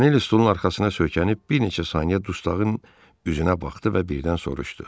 Montanelli stolun arxasına söykənib bir neçə saniyə dustağın üzünə baxdı və birdən soruşdu.